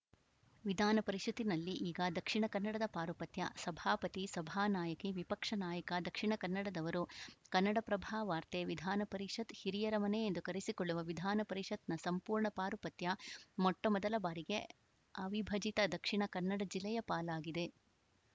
ವಿಧಾನ ಪರಿಷತ್‌ನಲ್ಲಿ ಈಗ ದಕ್ಷಿಣ ಕನ್ನಡದ ಪಾರುಪತ್ಯ ಸಭಾಪತಿ ಸಭಾನಾಯಕಿ ವಿಪಕ್ಷ ನಾಯಕ ದಕ್ಷಿಣ ಕನ್ನಡ ದವರು ಕನ್ನಡಪ್ರಭ ವಾರ್ತೆ ವಿಧಾನ ಪರಿಷತ್‌ ಹಿರಿಯರ ಮನೆ ಎಂದೇ ಕರೆಸಿಕೊಳ್ಳುವ ವಿಧಾನ ಪರಿಷತ್‌ನ ಸಂಪೂರ್ಣ ಪಾರುಪತ್ಯ ಮೊಟ್ಟಮೊದಲ ಬಾರಿಗೆ ಅವಿಭಜಿತ ದಕ್ಷಿಣ ಕನ್ನಡ ಜಿಲ್ಲೆಯ ಪಾಲಾಗಿದೆ